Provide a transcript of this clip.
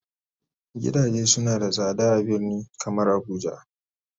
gidaje suna da sada a birni kamar abuja.